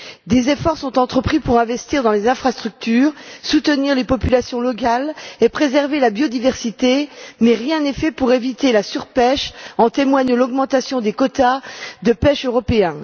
Des efforts sont entrepris pour investir dans les infrastructures, soutenir les populations locales et préserver la biodiversité, mais rien n'est fait pour éviter la surpêche, comme en témoigne l'augmentation des quotas de pêche européens.